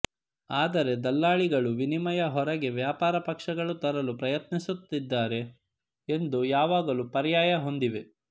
ಆದರೆ ದಲ್ಲಾಳಿಗಳು ವಿನಿಮಯ ಹೊರಗೆ ವ್ಯಾಪಾರ ಪಕ್ಷಗಳು ತರಲು ಪ್ರಯತ್ನಿಸುತ್ತಿದ್ದಾರೆ ಎಂದು ಯಾವಾಗಲೂ ಪರ್ಯಾಯ ಹೊಂದಿವೆ